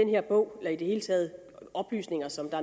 her bog eller i det hele taget oplysninger som